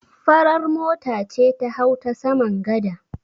Farar mota ce ta hau ta saman gada.